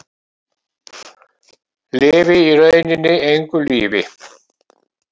Lifi í rauninni engu lífi.